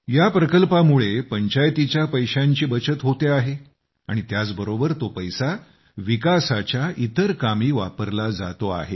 या प्रकल्पामुळे पंचायतीच्या पैशांची बचत होते आहे आणि त्याचबरोबर तो पैसा विकासाच्या इतर कामी वापरला जातो आहे